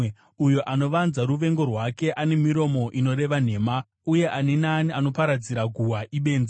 Uyo anovanza ruvengo rwake ane miromo inoreva nhema, uye ani naani anoparadzira guhwa ibenzi.